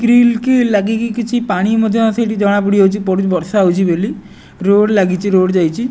Grill କି ଲାଗିକି କିଛି ପାଣିମଧ୍ୟ ସେଇଠି ଜଣାପଡିଯାଉଚି ବର୍ଷା ହେଉଚି ବୋଲି ରୋଡ଼୍ ଲାଗିଚି ରୋଡ଼ ଯାଇଚି।